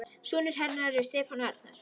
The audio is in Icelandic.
Sonur hennar er Stefán Arnar.